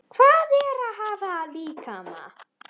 Hvað er að hafa líkama?